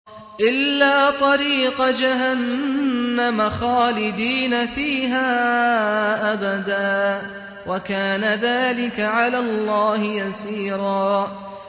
إِلَّا طَرِيقَ جَهَنَّمَ خَالِدِينَ فِيهَا أَبَدًا ۚ وَكَانَ ذَٰلِكَ عَلَى اللَّهِ يَسِيرًا